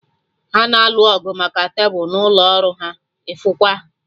Ha na-alụ ọgụ maka tebụl n'ụlọ ọrụ ha, ịfụkwa!